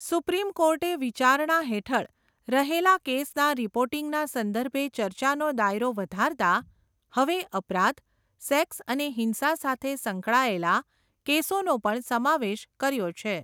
Supreme કોર્ટે વિચારણા હેઠળ, રહેલા કેસના રિપોર્ટિંગના સંદર્ભે ચર્ચાનો દાયરો વધારતાં, હવે અપરાધ, સેક્સ અને હિંસા સાથે સંકળાએલા, કેસોનો પણ સમાવેશ કર્યો છે.